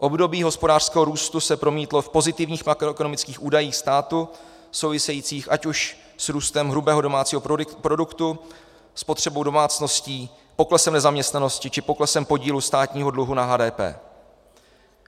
Období hospodářského růstu se promítlo v pozitivních makroekonomických údajích státu souvisejících ať už s růstem hrubého domácího produktu, spotřebou domácností, poklesem nezaměstnanosti či poklesem podílu státního dluhu na HDP.